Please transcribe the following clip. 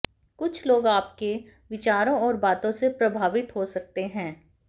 कुछ लोग आपके विचारों और बातों से प्रभावित हो सकते हैं